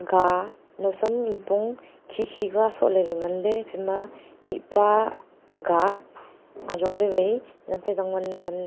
ka nausam nipong khikhI ka sohley ley nganley iphaima mihpa aga azongley vaI yam phaI zangwan ley nganley.